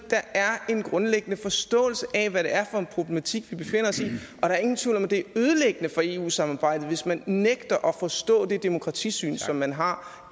er en grundlæggende forståelse af hvad det er for en problematik vi befinder os i der er ingen tvivl om at det er ødelæggende for eu samarbejdet hvis man nægter at forstå det demokratisyn som man har